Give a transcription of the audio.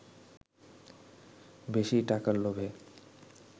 বেশী টাকার লোভে